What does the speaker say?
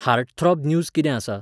Heartthrob news कितें आसा?